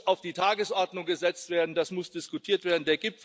Das muss auf die Tagesordnung gesetzt werden, das muss diskutiert werden.